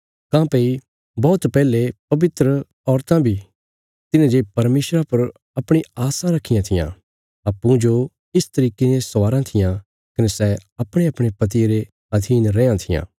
काँह्भई बौहत पैहले पवित्र औरतां बी तिन्हें जे परमेशरा पर अपणी आस्सां रखियां थिआं अप्पूँजो इस तरिके ने स्वाराँ थिआं कने सै अपणेअपणे पतिये रे अधीन रैयां थिआं